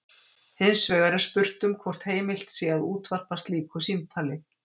Hins vegar er spurt um hvort heimilt sé að útvarpa slíku símtali.